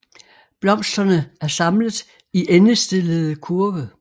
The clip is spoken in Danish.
Blomsterne er samlet i endestillede kurve